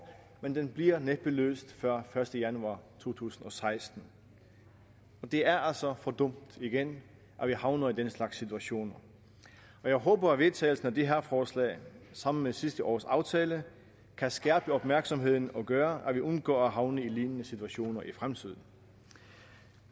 men den bliver næppe løst før første januar to tusind og seksten det er altså for dumt at vi havner i den slags situationer jeg håber at vedtagelsen af det her forslag sammen med sidste års aftale kan skærpe opmærksomheden og gøre at vi undgår at havne i lignende situationer i fremtiden